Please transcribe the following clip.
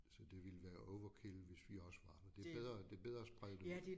Så det ville være overkill hvis vi også var der det bedre det bedre at sprede det ud